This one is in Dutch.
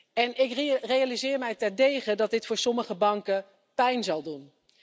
En ik realiseer mij terdege dat dit voor sommige banken pijn zal doen.